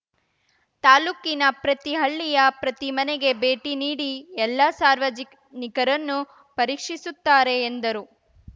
ತಾಲೂಕಿನ ಪ್ರತಿ ಹಳ್ಳಿಯ ಪ್ರತಿ ಮನೆಗೆ ಭೇಟಿ ನೀಡಿ ಎಲ್ಲ ಸಾರ್ವಜನಿಕರನ್ನುಪರೀಕ್ಷಿಸುತ್ತಾರೆ ಎಂದರು